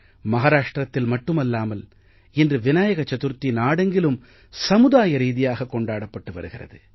மஹாராஷ்ட்ரத்தில் மட்டுமல்லாமல் இன்று விநாயக சதுர்த்தி நாடெங்கிலும் சமுதாய ரீதியாக கொண்டாடப்பட்டு வருகிறாது